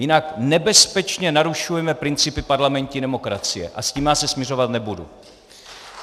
Jinak nebezpečně narušujeme principy parlamentní demokracie a s tím já se smiřovat nebudu.